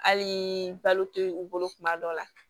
Hali balo tɛ u bolo kuma dɔ la